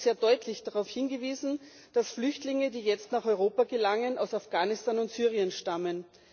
Es wurde sehr deutlich darauf hingewiesen, dass Flüchtlinge, die jetzt nach Europa gelangen, aus Afghanistan und Syrien stammen.